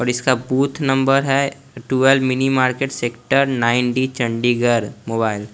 और इसका booth number है twelve mini market sector nine D Chandigarh mobile --